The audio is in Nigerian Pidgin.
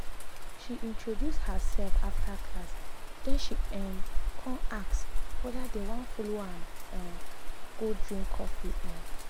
she introduce herself after class then she um con ask whether dem wan follow am um go drink coffee. um